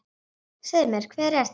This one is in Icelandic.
Segðu mér, hver er þetta?